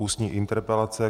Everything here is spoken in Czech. Ústní interpelace